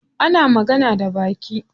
Ana magana da baki.